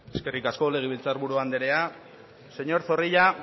señor zorrilla